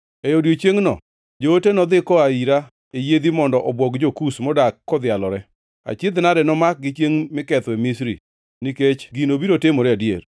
“ ‘E odiechiengno joote nodhi koa ira e yiedhi mondo obwog jo-Kush modak kodhialore. Achiedh-nade nomakgi chiengʼ mikethoe Misri, nikech gino biro timore adier.